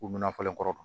U mina falen kɔrɔ